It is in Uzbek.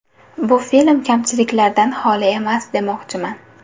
Bu bilan film kamchiliklardan xoli emas demoqchiman.